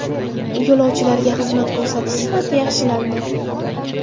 Yo‘lovchilarga xizmat ko‘rsatish sifati yaxshilandi.